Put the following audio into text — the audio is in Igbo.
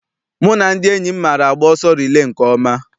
Mụ na ndị enyi m maara agba ọsọ rilee nke ọma.